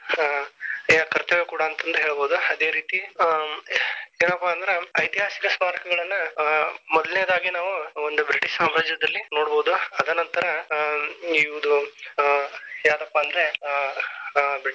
ಹ ಕರ್ತವ್ಯ ಕೂಡಾ ಅಂತಂದ ಹೇಳಬಹುದು. ಅದೇ ರೀತಿ ಹ್ಮ್ ಏನಪ್ಪಾ ಅಂದ್ರ ಐತಿಹಾಸಿಕ ಸ್ಮಾರಕಗಳನ್ನ ಹ ಮೊದಲೆನೆದಾಗಿ ನಾವು ಒಂದು ಬ್ರಿಟಿಷ ಸಾಮ್ರಾಜ್ಯದಲ್ಲಿ ನೋಡಬಹುದು ಅದನಂತರ ಹ್ಮ್ ಇವ್ರು ಹ ಯಾರಪ್ಪಾ ಅಂದ್ರೆ ಆ.